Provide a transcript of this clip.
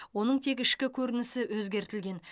оның тек ішкі көрінісі өзгертілген